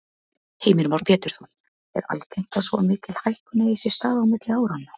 Heimir Már Pétursson: Er algengt að svo mikil hækkun eigi sér stað á milli áranna?